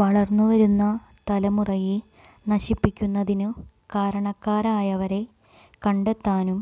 വളര്ന്നുവരുന്ന തലമുറയെ നശിപ്പിക്കുന്നതിന് കാരണക്കാരായവരെ കണ്ടെത്താന്